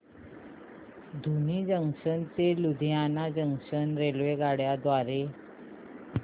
धुरी junction ते Ludhiana junction रेल्वेगाड्यां द्वारे